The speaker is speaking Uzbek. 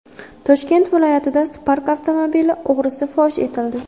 Toshkent viloyatida Spark avtomobili o‘g‘risi fosh etildi.